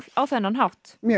á þennan hátt mjög